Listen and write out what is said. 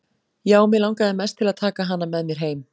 Já, mig langaði mest til að taka hana með mér heim.